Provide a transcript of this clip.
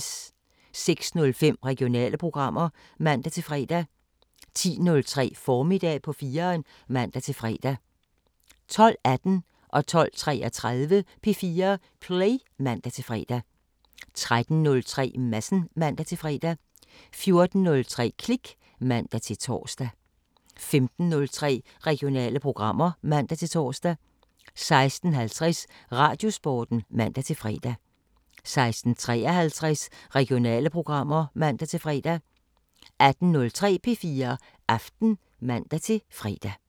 06:05: Regionale programmer (man-fre) 10:03: Formiddag på 4'eren (man-fre) 12:18: P4 Play (man-fre) 12:33: P4 Play (man-fre) 13:03: Madsen (man-fre) 14:03: Klik (man-tor) 15:03: Regionale programmer (man-tor) 16:50: Radiosporten (man-fre) 16:53: Regionale programmer (man-fre) 18:03: P4 Aften (man-fre)